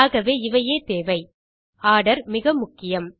ஆகவே இவையே தேவை ஆர்டர் மிக முக்கியம்